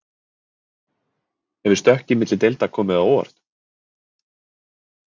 Hefur stökkið milli deilda komið á óvart?